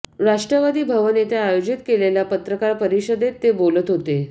राष्ट्रवादी भवन येथे आयोजित केलेल्या पत्रकार परिषदेत ते बोलत होते